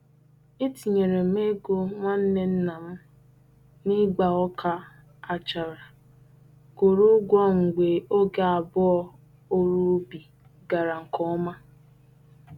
Etinyere m ego nwanne nna m n'ịgba ọka achara kwụrụ ụgwọ mgbe oge abụọ ọru ubi gara nke ọma.